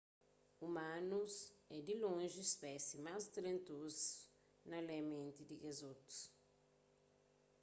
umanus é di lonji spésie más talentozu na lê menti di kes otu